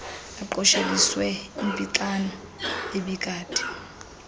aqosheliswe impixano ebikade